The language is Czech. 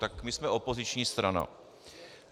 Tak my jsme opoziční strana.